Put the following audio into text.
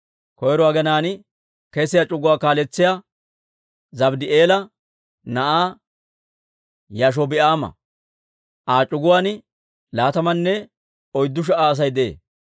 Koyro aginaan kesiyaa c'uguwaa kaaletsiyaawe Zabddi'eela na'aa Yaashobi'aama; Aa c'uguwaan laatamanne oyddu sha"a Asay de'ee.